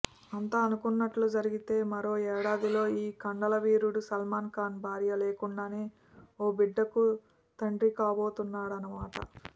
అంతా అనుకున్నట్టు జరిగితే మరో యేడాదిలో ఈ కండల వీరుడు సల్మాన్ ఖాన్ భార్య లేకుండానే ఓ బిడ్డకు తండ్రికాబోతున్నాడన్నమాట